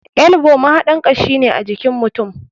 Elbow mahaɗar kashi ne ajikin mutum.